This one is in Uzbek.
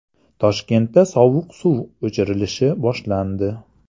Toshkentda sovuq suv o‘chirilishi boshlandi.